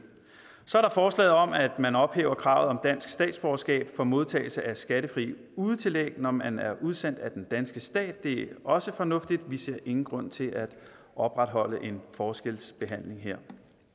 så er der forslaget om at man ophæver kravet om dansk statsborgerskab for modtagelse af skattefri udetillæg når man er udsendt af den danske stat det er også fornuftigt og vi ser ingen grund til at opretholde en forskelsbehandling her